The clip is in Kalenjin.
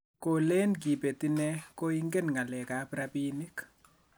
Kolen Kibet inee koingen ng'alek ab rabinik